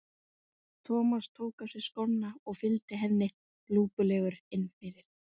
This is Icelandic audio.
Hann hafði sterklega á tilfinningunni að hann hefði gert slæm mistök, verulega slæm.